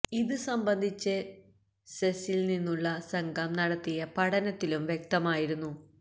ഇത് സംബന്ധിച്ച് സെസില് നിന്നുള്ള സംഘം നടത്തിയ പഠനത്തിലും വ്യക്തമായിരുന്നു